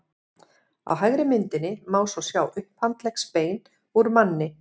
á hægri myndinni má svo sjá upphandleggsbein úr manni